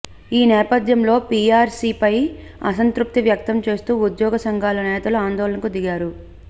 ఈ నేపథ్యంలో పీఆర్సీపై అసంతృప్తి వ్యక్తం చేస్తూ ఉద్యోగ సంఘాల నేతలు ఆందోళనకు దిగారు